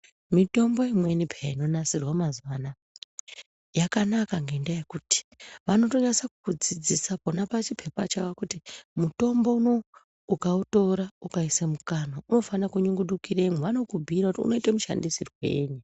Mitombo inweni peta inonasirwa mazuva anaya yakanaka ngendaa yekuti vanotonasa kukudzidzisa nepachipepa chawo kuti mutombo unou ukautora ukaisa mukanwa unofana kunyungudukiremo vanokubhuira kuti unoitwa mushandisirwei.